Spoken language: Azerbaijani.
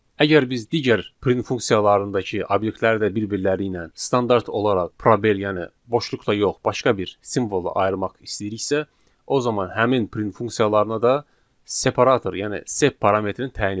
Əgər biz digər print funksiyalarındakı obyektləri də bir-birləri ilə standart olaraq probel, yəni boşluqla yox, başqa bir simvolla ayırmaq istəyiriksə, o zaman həmin print funksiyalarına da separator, yəni sep parametrin təyin etməliyik.